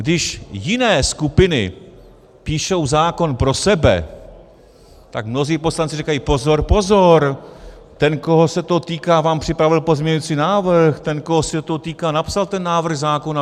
Když jiné skupiny píšou zákon pro sebe, tak mnozí poslanci říkají: pozor, pozor, ten, koho se to týká, vám připravil pozměňovací návrh, ten, koho se to týká, napsal ten návrh zákona.